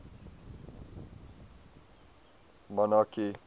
monarchy